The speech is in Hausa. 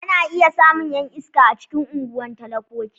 Ana iya samun 'yan iska a cikin unguwan talakoki.